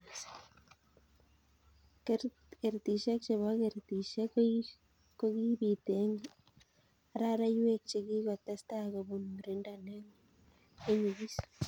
Kertisyek chebo kertisyek kokibiit eng araraiyweek chekikotestai kobun murindo ne nyigis.